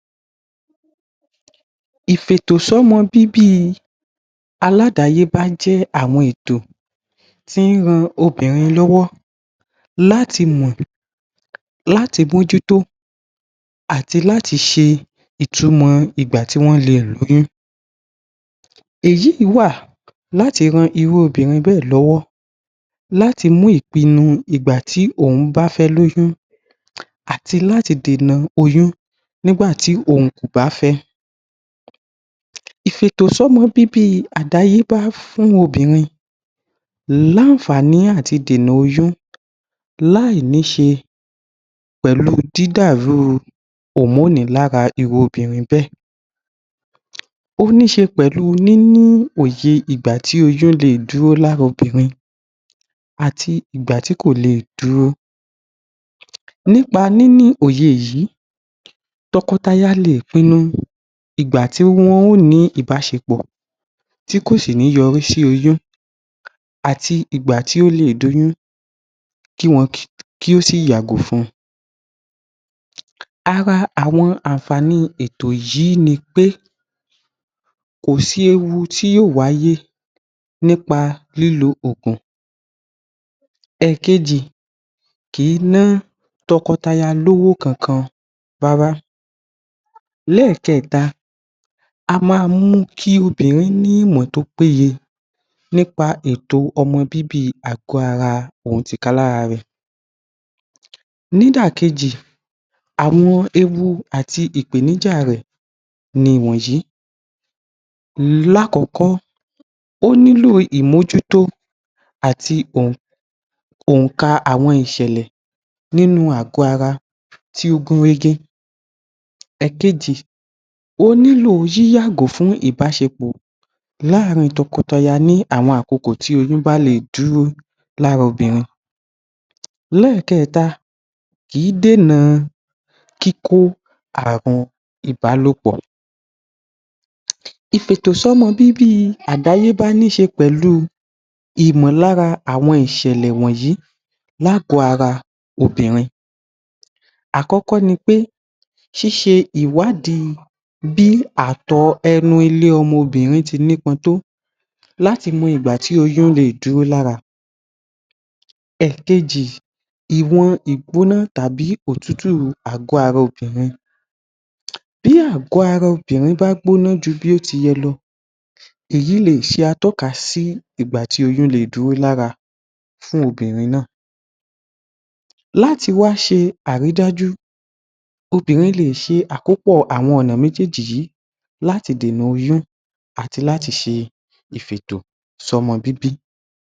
Ìfi ètò ṣọmọ bíbí àládàáyébá jẹ́ àwọn ètò tí ń ran obìrin lọ́wọ́ láti mọ́ láti mọ́ jútó àti láti ṣe ìtumò ìgbà tí wọ́n le lóyún èyí wà láti ran irú obìrin bẹ́ẹ̀ lọ́wọ́ láti mú ìpinu ìgbà tí ó bá fé lóyún àti láti dènà oyún nígbàtí òhun kò bá fé ìfi ètò ṣọmọ bíbí àdáyébá fún obìrin ní anfààní àti dènà oyún láì ní ṣé pẹ̀lú imoni nínú irú obìnrin bẹ́ẹ̀ ó ní ṣé pẹ̀lú nínú òye ìgbà tí oyún leè dúró lára obìrin àti ìgbà tí kò le dúró nípa ní ní òye yìí tọkọtaya leè pinu ìgbà tí wọ́n lè ní ìbáṣepọ̀ tí kò sí ní yọrí sí oyún àti ìgbà tí ò le di oyún kí wọn kí ó sì yàgò fún un ara àwọn ànfààní ètò yí nipé kò sí ewu tí wáyé nípa lílo òògùn èkejì kìí ná tọkọtaya lówó kankan rárá ni ẹ̀kẹta a máa mú kí obìnrin ní ìmọ̀ tó pé yẹ nípa ètò ọmọ bíbí àgọ́ ara òhun tì ká lára rè nídà Kejì àwọn ẹwù àti ìpèníjà rẹ̀ ni ìwọ̀nyí lákọkọ́ o nílò ìmójútó àti ohùn ohun ohùn kaa ohun ìṣẹ̀lẹ̀ nínú àgọ ara tí ògùn ré ge èkejì ó nílò yi yàgò fún ìbáṣepọ̀ làrin tọkọtaya ní àwọn àkọ́kọ̀ tí oyún bálẹ dúró lára obìrin kìí dènà kíkó ààrùn Ìbálòpọ̀ Ìfi ètò sí ọmọ bíbí àdáyébá ní ṣé pẹlú ìmọ̀ lára àwọn ìṣẹ̀lẹ̀ wọ̀nyí lágọ̀ọ́ ara obìrin àkọ́kọ́ nipé ṣíṣẹ ìwádìí bíi àtọ̀ọ̀ enu ilé ọmọ bìnrin tí ní pọn tó láti mọ ìgbà tí oyún leè dúró lára ìwọ̀n ìgbóná tàbí òtútù àgọ́ ara obìrin bí àgọ́ ara obìrin bá gbóná ju bí ó ti yẹ lọ èyí leè ṣe atọ́ka ìgbàtí oyún leè dúró lára fún obìrin náà láti wá ṣe àrídájú obìririn lè ṣe àkópọ̀ ọ̀nà méjèjì yìí láti dènà oyún àti láti ṣe ìfi ètò sí ọmọ bíbí.